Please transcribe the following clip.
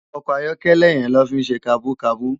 Òkò àyòkèlè yèn ló fi n sé kàbúkàbú